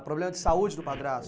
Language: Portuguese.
problema de saúde do padrasto?